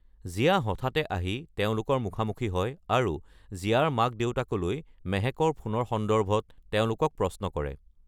জিয়া হঠাতে আহি তেওঁলোকৰ মুখামুখি হয় আৰু জিয়াৰ মাক দেউতাকলৈ মেহেকৰ ফোনৰ সন্দৰ্ভত তেওঁলোকক প্ৰশ্ন কৰে।